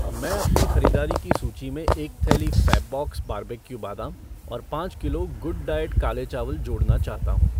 मैं अपनी ख़रीदारी की सूची में एक थैली फ़ैबबॉक्स बारबेक्यू बादाम और पाँच किलो गुडडाइऐट काले चावल जोड़ना चाहता हूँ।